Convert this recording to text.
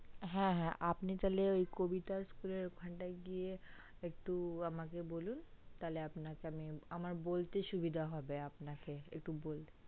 হে হে আপনি তালে ওই কবিতা school এর ওখানটাই গিয়ে একটু আমাকে বলুন তালে আপনাকে আমি আমার বলতে সুবিধা হবে আপনাকে একটু আমাকে